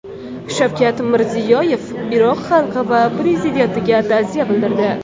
Shavkat Mirziyoyev Iroq xalqi va prezidentiga ta’ziya bildirdi.